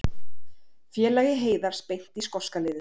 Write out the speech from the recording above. Félagi Heiðars beint í skoska liðið